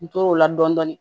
N tor'o la dɔɔnin dɔɔnin